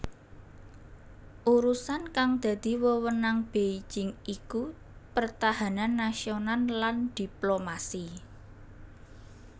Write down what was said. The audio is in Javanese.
Urusan kang dadi wewenang Beijing iku pertahanan nasional lan diplomasi